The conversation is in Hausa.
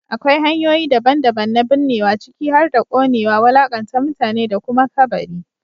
Akwai hanyoyi daban-daban na binnewa, ciki har da ƙonewa, wulaƙanta mutane, da kuma kabari.